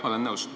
Jah, olen nõus.